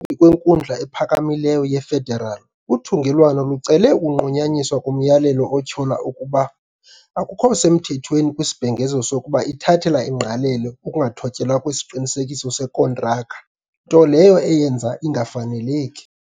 kweNkundla ePhakamileyo ye-Federal, uthungelwano lucele ukunqunyanyiswa komyalelo otyhola ukuba akukho semthethweni kwisibhengezo sokuba ithathela ingqalelo ukungathotyelwa kwesiqinisekiso sekontraka, nto leyo eyenza ingafaneleki.